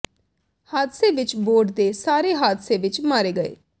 ਹਾਦਸੇ ਵਿਚ ਬੋਰਡ ਦੇ ਸਾਰੇ ਹਾਦਸੇ ਵਿਚ ਮਾਰੇ ਗਏ ਸਨ